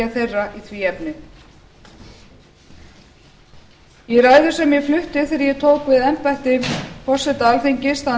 þeirra í því efni í ræðu sem ég flutti þegar ég tók við embætti forseta alþingis þann